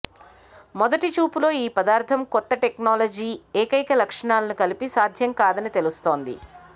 మొదటి చూపులో ఈ పదార్థం కొత్త టెక్నాలజీ ఏకైక లక్షణాలను కలిపి సాధ్యం కాదని తెలుస్తోంది